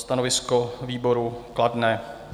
Stanovisko výboru kladné.